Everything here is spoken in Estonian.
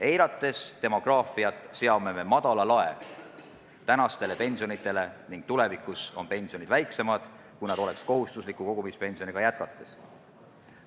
Eirates demograafiat, seame madala lae tänastele pensionitele ning tulevikus on pensionid väiksemad, kui nad oleksid kohustusliku kogumispensioniga jätkates.